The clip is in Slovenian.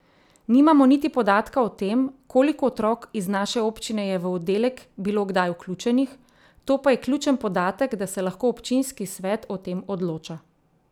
Nimamo niti podatka o tem, koliko otrok iz naše občine je v oddelek bilo kdaj vključenih, to pa je ključen podatek, da se lahko občinski svet o tem odloča.